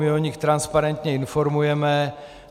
My o nich transparentně informujeme.